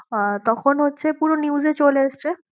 আহ তখন হচ্ছে পুরো news এ চলে এসছে।